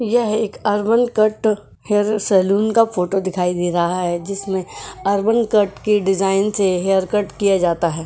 यह एक urban cut hair salon का फोटो दिखाइ दे रहा है जिसमें अर्बन कट के डिजाइन से हेयरकट किया जाता है।